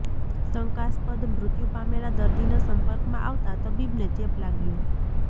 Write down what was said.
શંકાસ્પદ મૃત્યુ પામેલા દર્દીના સંપર્કમાં આવતા તબીબને ચેપ લાગ્યો